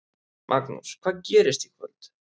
Magnús: Hvað gerist í kvöld?